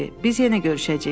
Biz yenə görüşəcəyik.